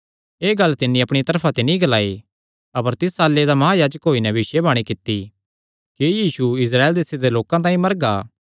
एह़ गल्ल तिन्नी अपणिया तरफा ते नीं ग्लाई अपर तिस साल्ले दा महायाजक होई नैं भविष्यवाणी कित्ती कि यीशु इस्राएल देसे दे लोकां तांई मरगा